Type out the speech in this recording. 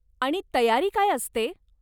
आणि तयारी काय असते?